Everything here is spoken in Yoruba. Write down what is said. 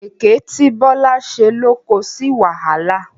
Èké tí Bọ́lá ṣe ló ko sí wàhálà.